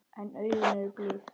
En augun eru blíð.